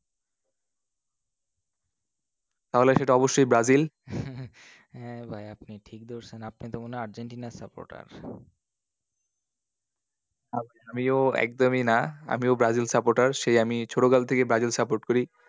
তাহলে সেটা অবশ্যই ব্রাজিল? হ্যাঁ ভাই আপনি ঠিক ধরছেন, আপনি তো মনে হয় আর্জেন্টিনা এর supporter আমিও একদমই না, আমিও ব্রাজিল supporter সেই ছোটকাল থেকেই ব্রাজিল support করি।